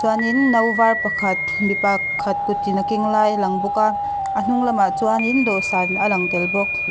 chuanin no var pakhat mi pa khat kutin a keng lai a lang bawk a a hnung lamah chuanin dawhsan a lang tel bawk.